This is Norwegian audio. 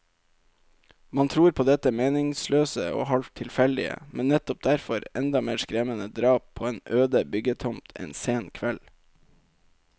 Man tror på dette meningsløse og halvt tilfeldige, men nettopp derfor enda mer skremmende drap på en øde byggetomt en sen kveld.